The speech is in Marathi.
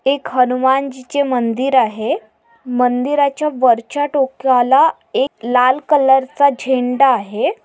एक हनुमान जिचे मंदिर आहे मंदिराच्या वरच्या टोकलाला एक लाल कलर चा झेंडा आहे.